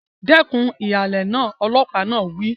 Dẹ́kun ìhàlẹ̀ náà! Ọlọ́pàá náà wí.